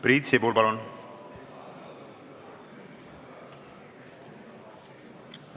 Priit Sibul, palun!